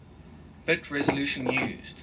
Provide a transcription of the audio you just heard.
bit resolution used